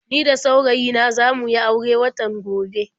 Ni da saurayi na za mu yi aure watan gobe.